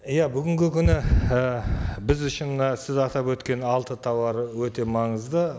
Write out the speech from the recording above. иә бүгінгі күні і біз үшін мына сіз атап өткен алты тауар өте маңызды